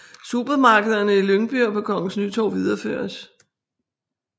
Supermarkederne i Lyngby og på Kongens Nytorv videreføres